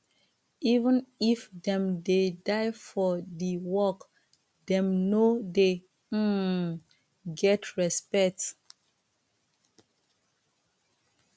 even if dem dey die for di work dem no de um get respect